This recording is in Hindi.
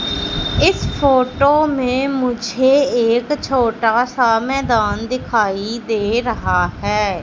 इस फोटो में मुझे एक छोटा सा मैदान दिखाई दे रहा है।